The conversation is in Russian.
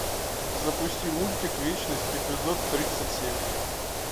запусти мультик вечность эпизод тридцать семь